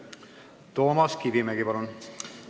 Toomas Kivimägi, palun!